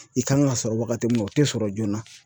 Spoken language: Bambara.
I kan ka sɔrɔ wagati mun na o te sɔrɔ joona.